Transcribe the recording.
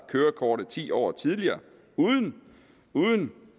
kørekortet ti år tidligere uden